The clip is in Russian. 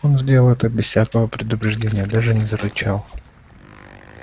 он сделал это без всякого и предупреждения даже не зарычал